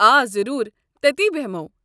آ ضروٗر ! تٔتی بٮ۪ہمو۔